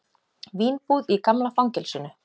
Vínbúð í gamla fangelsinu